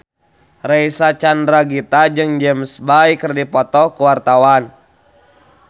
Reysa Chandragitta jeung James Bay keur dipoto ku wartawan